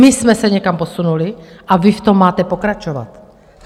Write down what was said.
My jsme se někam posunuli a vy v tom máte pokračovat.